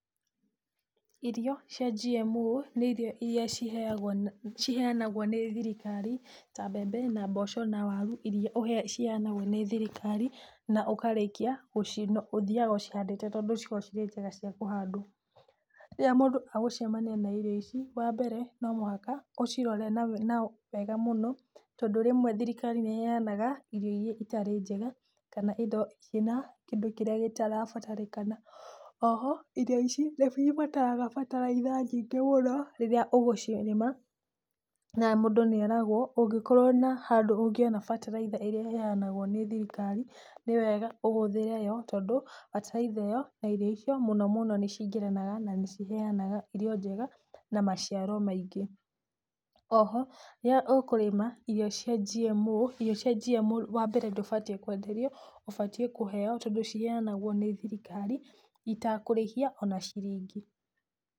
Irio cia GMO nĩ ĩria ciheanagũo nĩ thirikari ta mbembe na mboco na waru iria ciheanagwo nĩ thirikari, na ũthiaga ũcihandĩte tondũ ikoragwo cirĩ njega cia kũhandwo. Rĩrĩa mũndũ agũcemania na irio ici wa mbere, no mũhaka ũcirore wega mũno tondũ rĩmwe thirikari nĩ ĩheanaga, irio iria itarĩ njega, kana indo irĩ na kindũ kĩrĩa gĩtara atarĩkana. Oho irio ici nicibataraga bataraitha nyingĩ mũno, rĩrĩa ũgũcirĩma, na mũndũ nĩeragwo, ũngĩkorwo na handũ ũngĩona bataraitha ĩrĩa ĩheanagwo nĩ thirikari, nĩ wega ũhũthĩre yo, tondũ bataraitha ĩyo na irio icio, mũno mũno nĩ cingĩranaga na nĩ ĩheanaga irio njega, na maciaro maingĩ. Oho rĩrĩa ũkũrĩma irio cia GMO, irio cia GMO wa mbere ndũbatiĩ kwenderio, ũbatiĩ kũheo, tondũ ĩheanagwo nĩ thirikariĩ itakũrĩhio ona ciringi.